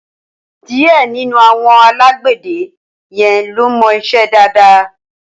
Díẹ̀ nínú àwọn alágbẹ̀dẹ yẹn ló mọ iṣẹ́ dáadáa.